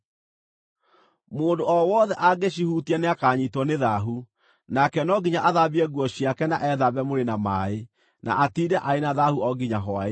Mũndũ o wothe angĩcihutia nĩakanyiitwo nĩ thaahu; nake no nginya athambie nguo ciake na ethambe mwĩrĩ na maaĩ, na atiinde arĩ na thaahu o nginya hwaĩ-inĩ.